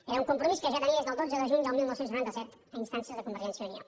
era un compromís que ja tenia des del dotze de juny del dinou noranta set a instàncies de convergència i unió